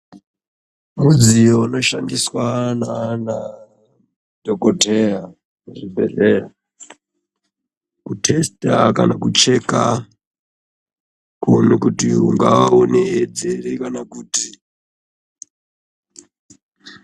Mudziyo unoshandiswa naanadhokodheya muzvibhedhlera, kuthesita kana kucheka ,kuone kuti ungaa une edzi ere kana kuti..